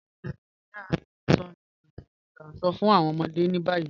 Ǹjẹ̀ a ǹ sọ̀ awọn ìtàn ìtànṣọ̀ fún awọn ọmọdé ni bayi?